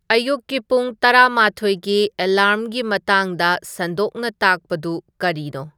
ꯑꯌꯨꯛꯀꯤ ꯄꯨꯡ ꯇꯔꯥꯃꯊꯣꯏꯒꯤ ꯑꯦꯂꯥꯔ꯭ꯝꯒꯤ ꯃꯇꯥꯡꯗ ꯁꯟꯗꯣꯛꯅ ꯇꯥꯛꯄꯗꯨ ꯀꯔꯤꯅꯣ